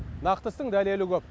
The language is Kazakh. нақты істің дәлелі көп